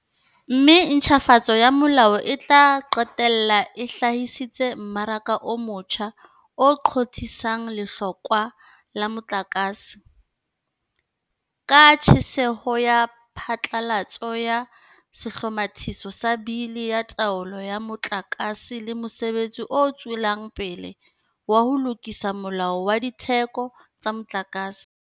Mme ntjhafatso ya molao e tla qetella e hlahisitse mmaraka o motjha o qothisang lehlokwa la motlakase, ka tshehetso ya phatlalatso ya Sehlomathiso sa Bili ya Taolo ya Motlaka se le mosebetsi o tswelang pele wa ho lokisa Molao wa Ditheko tsa Motlakase.